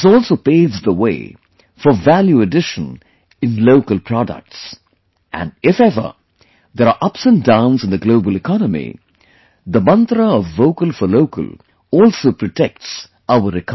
This also paves the way for Value Addition in local products, and if ever, there are ups and downs in the global economy, the mantra of Vocal For Local also protects our economy